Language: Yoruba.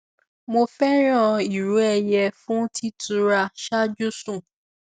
mo fẹràn ìró ẹyẹ fún títura ṣáájú sùn